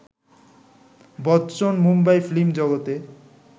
Bachchan Mumbai film জগতে